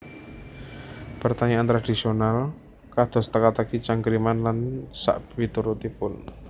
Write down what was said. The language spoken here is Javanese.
Pertanyaan tradhisional kados teka teki cangkriman lan sakpiturutipun